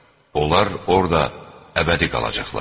Onlar orda əbədi qalacaqlar.